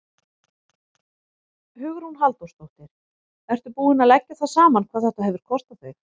Hugrún Halldórsdóttir: Ertu búinn að leggja það saman hvað þetta hefur kostað þig?